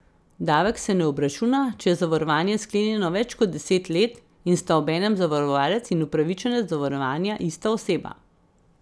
Davek se ne obračuna, če je zavarovanje sklenjeno več kot deset let in sta obenem zavarovalec in upravičenec zavarovanja ista oseba.